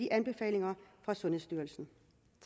anbefalingerne fra sundhedsstyrelsen